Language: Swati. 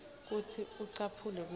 kutsi ucaphele kutsi